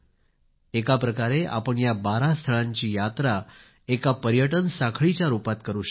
एका प्रकारे आपण या 12 स्थळांची यात्रा एका पर्यटन साखळीच्या रूपात करू शकता